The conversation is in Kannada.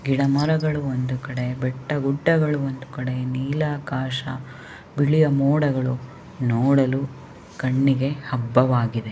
ಗಿಡಮರಗಳು ಒಂದು ಕಡೆ ಬೆಟ್ಟಗುಡ್ಡಗಳು ಒಂದುಕಡೆ ನೀಲಾಕಾಶ ಬಿಳಿಯ ಮೋಡಗಳು ನೋಡಲು ಕಣ್ಣಿಗೆ ಹಬ್ಬವಾಗಿದೆ .